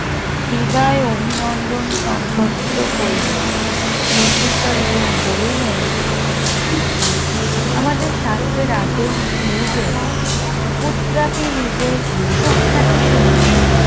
বিদায় অভিনন্দন সম্পর্কিত করিলেন প্রত্যুত্তরে তিনি বলিলেন আমাদের শাস্ত্রের আদেশ এই যে পুত্রাদি নিজের সুখ্যাতি শুনিলে